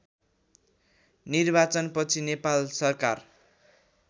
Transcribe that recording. निर्वाचनपछि नेपाल सरकार